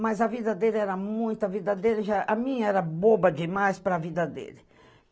Mas a vida dele era muita, a vida dele já... A minha era boba demais para a vida dele.